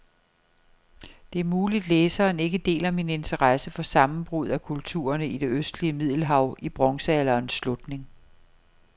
Det er muligt, læseren ikke deler min interesse for sammenbruddet af kulturerne i det østlige middelhav i bronzealderens slutning.